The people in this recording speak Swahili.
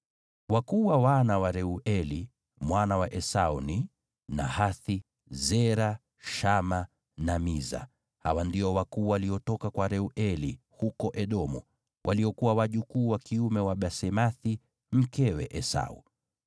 Wakuu wa wana wa Reueli, mwana wa Esau ni: Nahathi, Zera, Shama na Miza. Hawa ndio wakuu waliotoka kwa Reueli huko Edomu, waliokuwa wajukuu wa kiume wa Basemathi mkewe Esau.